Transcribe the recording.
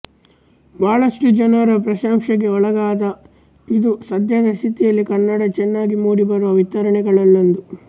ಬಹಳಷ್ಟು ಜನರ ಪ್ರಶಂಸೆಗೆ ಒಳಗಾದ ಇದು ಸದ್ಯದ ಸ್ಥಿತಿಯಲ್ಲಿ ಕನ್ನಡ ಚೆನ್ನಾಗಿ ಮೂಡಿ ಬರುವ ವಿತರಣೆಗಳಲ್ಲೊಂದು